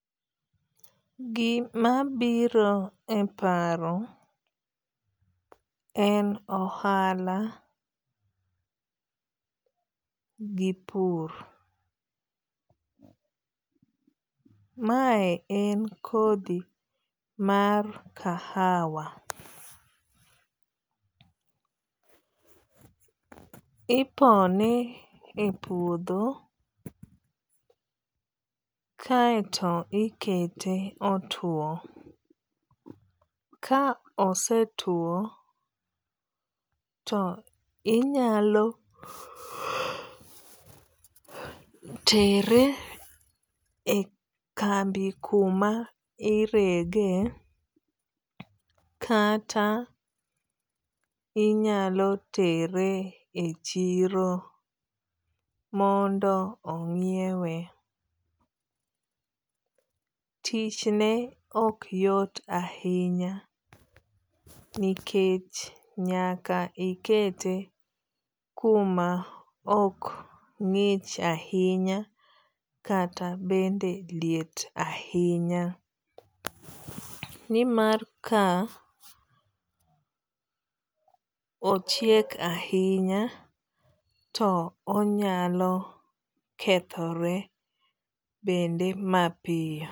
Gima biro e paro en ohala gi pur. Mae en kodhi mar kahawa. Ipone e puodho kaeto ikete otuo. Ka ose tuo to inyalo tere e kambi kuma irege kata inyalo tere e chiro mondo onyiewe. Tich ne ok yot ahinya nikech nyaka ikete kuma ok ng'ich ahinya kata bende liet ahinya. Nimar ka ochiek ahinya to onyalo kethore bende mapiyo.